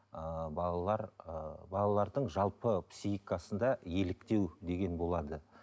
ыыы балалар ыыы балалардың жалпы психикасында еліктеу деген болады